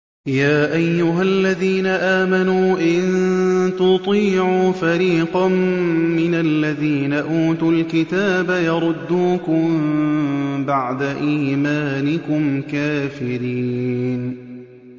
يَا أَيُّهَا الَّذِينَ آمَنُوا إِن تُطِيعُوا فَرِيقًا مِّنَ الَّذِينَ أُوتُوا الْكِتَابَ يَرُدُّوكُم بَعْدَ إِيمَانِكُمْ كَافِرِينَ